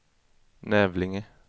Nävlinge